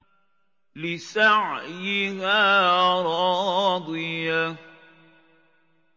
لِّسَعْيِهَا رَاضِيَةٌ